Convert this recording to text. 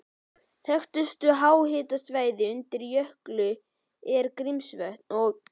Þekktustu háhitasvæði undir jökli eru Grímsvötn og